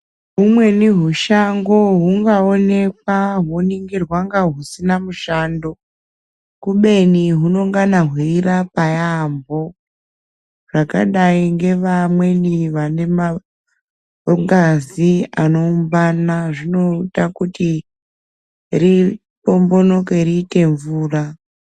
Humweni hushango hungaonekwa honingirwa kunga husina mushando kubeni hunongana hweirapa yaamho, zvakadai ngevamweni vane mangazi anoungana zvinoda kuti riombonoke riite mvura.